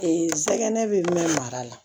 sɛgɛn bɛ min mara la